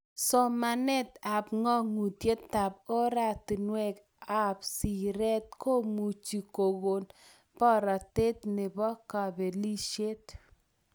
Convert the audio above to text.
Somanet ak kaguyetab ortinwek ab siret komuchi kokon boratet nebo kabelishet